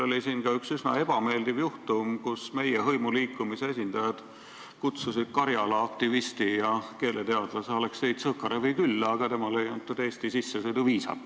Oli ka üks üsna ebameeldiv juhtum, kui meie hõimuliikumise esindajad kutsusid Karjala aktivisti ja keeleteadlase Aleksei Tsõkarevi külla, aga talle ei antud Eesti viisat.